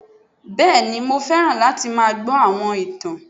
Bẹ́ẹ̀ni ni mo fẹ́ràn láti máa gbọ́ àwọn ìtàn